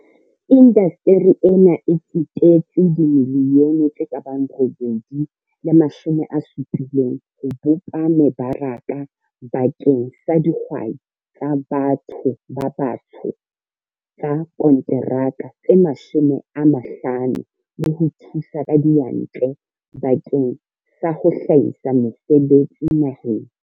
Indasteri ena e tsetetse R870 milione ho bopa meba raka bakeng sa dihwai tsa ba tho ba batsho tsa konteraka tse 50 le ho thusa ka diyantle bakeng sa ho hlahisa mesebetsi naheng.